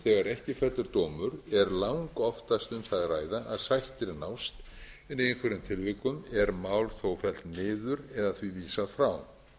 þegar ekki fellur dómur er langoftast um það að ræða að sættir nást en í einhverjum tilvikum er mál þó fellt niður eða því vísað frá